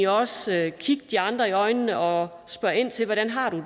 også at kigge de andre i øjnene og spørge ind til hvordan de